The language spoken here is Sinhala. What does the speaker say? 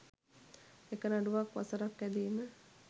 එක නඩුවක් වසරක් ඇදීම